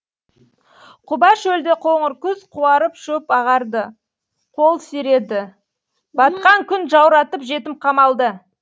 құба шөлде қоңыр күз қуарып шөп ағарды қол сиреді батқан күн жауратып жетім қамалды